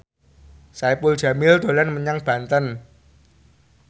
Saipul Jamil dolan menyang Banten